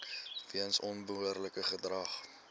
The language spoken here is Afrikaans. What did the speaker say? weens onbehoorlike gedrag